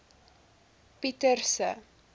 pieterse